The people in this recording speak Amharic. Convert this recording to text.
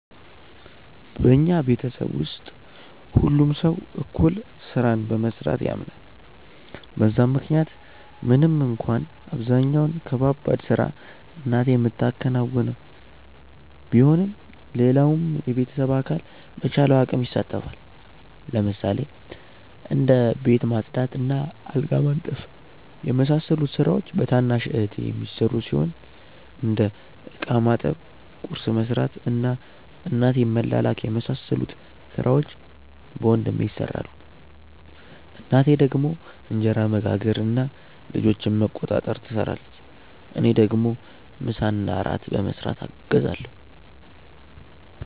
በኛ ቤተሰብ ውስጥ ሁሉም ሰው እኩል ስራን በመስራት ያምናል በዛም ምክንያት ምንም እንኳን አብዛኛውን ከባባድ ስራ እናቴ ምታከናውነው ቢሆንም ሌላውም የቤተሰብ አካል በቻለው አቅም ይሳተፋል። ለምሳሌ እንደ ቤት ማጽዳት እና አልጋ ማንጠፍ የመሳሰሉት ስራዎች በታናሽ እህቴ የሚሰሩ ሲሆን እንደ እቃ ማጠብ፣ ቁርስ መስራት እና እናቴን መላላክ የመሳሰሉት ሥራዎች በወንድሜ ይሰራሉ። እናቴ ደግሞ እንጀራ መጋገር እና ልጆችን መቆጣጠር ትሰራለች። እኔ ደግሞ ምሳና እራት በመስራት አግዛለሁ።